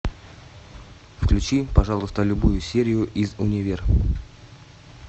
включи пожалуйста любую серию из универ